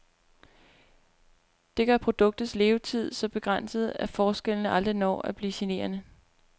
Det gør produktets levetid så begrænset, at forskellene aldrig når at blive generende.